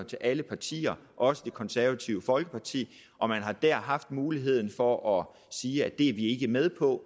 til alle partier også det konservative folkeparti og man har der haft muligheden for at sige det er vi ikke med på